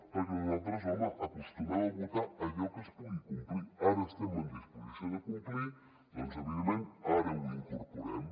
perquè nosaltres home acostumem a votar allò que es pugui complir ara estem en disposició de complir doncs evidentment ara ho incorporem